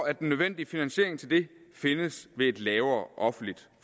at den nødvendige finansiering til det findes ved et lavere offentligt